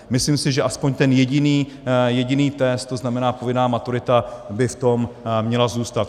Myslím si, že aspoň ten jediný test, to znamená povinná maturita, by v tom měl zůstat.